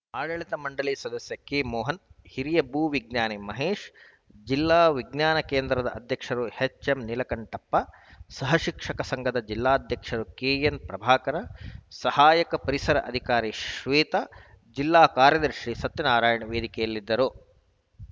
ಆಡಳಿತ ಮಂಡಳಿ ಸದಸ್ಯ ಕೆ ಮೋಹನ್‌ ಹಿರಿಯ ಭೂವಿಜ್ಞಾನಿ ಮಹೇಶ್‌ ಜಿಲ್ಲಾ ವಿಜ್ಞಾನಕೇಂದ್ರದ ಅಧ್ಯಕ್ಷರು ಎಚ್‌ಎಂ ನೀಲಕಂಠಪ್ಪ ಸಹಶಿಕ್ಷಕರ ಸಂಘದ ಜಿಲ್ಲಾಧ್ಯಕ್ಷರು ಕೆಎನ್‌ ಪ್ರಭಾಕರ ಸಹಾಯಕ ಪರಿಸರ ಅಧಿಕಾರಿ ಶ್ವೇತಾ ಜಿಲ್ಲಾ ಕಾರ‍್ಯದರ್ಶಿ ಸತ್ಯನಾರಾಯಣ ವೇದಿಕೆಯಲ್ಲಿದ್ದರು